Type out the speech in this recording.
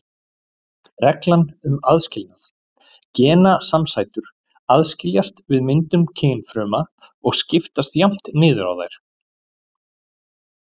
Reglan um aðskilnað: Genasamsætur aðskiljast við myndun kynfrumna og skiptast jafnt niður á þær.